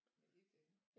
Men det er dem